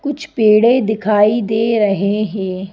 कुछ पेड़े दिखाई दे रहे हैं।